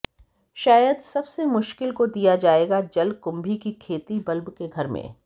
शायद सबसे मुश्किल को दिया जाएगा जलकुंभी की खेती बल्ब के घर में